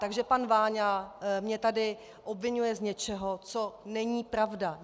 Takže pan Váňa mě tady obviňuje z něčeho, co není pravda.